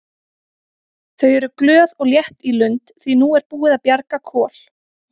Þau eru glöð og létt í lund því að nú er búið að bjarga Kol.